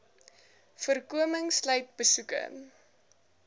voorkoming sluit besoeke